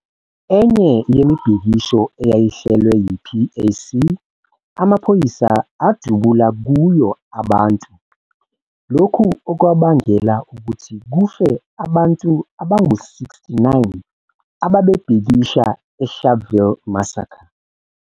Enye yemibhikisho eyayihlelwe yi-PAC, amaphoyisa adubula kuyo abantu, lokhu okwabangela ukuthi kufe abantu abangu 69 ababebhekisha eSharpeville massacre.